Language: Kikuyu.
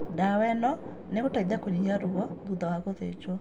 Ndawa ĩno nĩgũteithia kũnyihia ruo thutha wa gũthĩnjwo